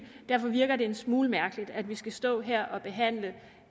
derfor virker det en smule mærkeligt at vi skal stå her og behandle